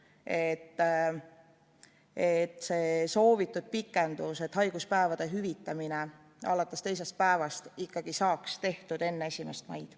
Neil on vaja kindlust, et see soovitud pikendus haiguspäevade hüvitamiseks alates teisest päevast saaks tehtud ikkagi enne 1. maid.